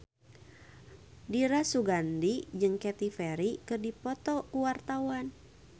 Dira Sugandi jeung Katy Perry keur dipoto ku wartawan